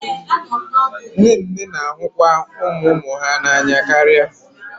Nne nne na-ahụkwa ụmụ ụmụ ha n'anya karịa